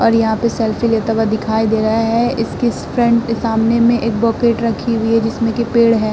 और यहां पे सेल्फी लेता हुआ दिखाई दे रहा है। इसकी स्फ्रेंट के सामने में एक बकेट रखी हुई है जिसमें कि पेड़ है।